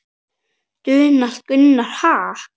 Donald Gunnar: Ha?